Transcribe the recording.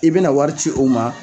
I be na wari ci o ma